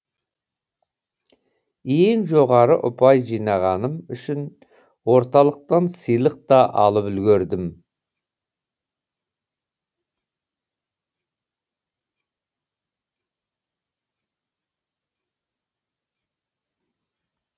ең жоғары ұпай жинағаным үшін орталықтан сыйлық та алып үлгердім